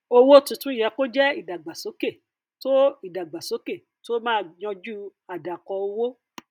owó tuntun yẹ kó jẹ ìdàgbàsókè tó ìdàgbàsókè tó máa yanjú àdàkọ owó